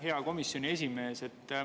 Hea komisjoni esimees!